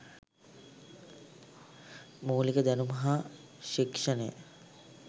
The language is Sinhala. මූලික දැනුම හා ශික්‍ෂණය